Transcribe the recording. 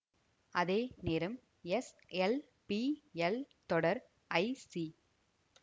அதேநேரம் S L P L தொடர் I C